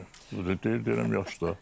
Hə deyir, deyirəm yaxşıdır.